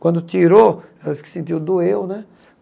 Quando tirou, ela se sentiu, doeu, né?